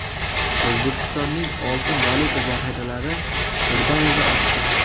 O‘zbekistonning oltin-valyuta zaxiralari birdaniga oshdi.